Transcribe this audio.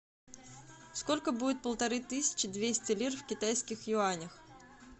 сколько будет полторы тысячи двести лир в китайских юанях